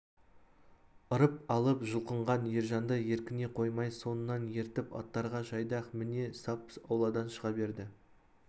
ырып алып жұлқынған ержанды еркіне қоймай соңынан ертіп аттарға жайдақ міне сап ауладан шыға берді